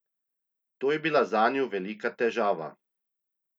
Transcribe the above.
To je bila zanju velika težava.